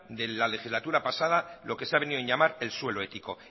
de la legislatura pasada lo que se ha venido en llamar el suelo ético